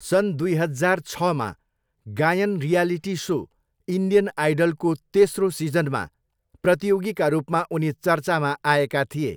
सन् दुई हजार छमा गायन रियालिटी सो 'इन्डियन आइडल'को तेस्रो सिजनमा प्रतियोगीका रूपमा उनी चर्चामा आएका थिए।